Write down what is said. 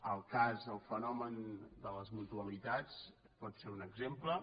el cas el fenomen de les mutualitats pot ser un exemple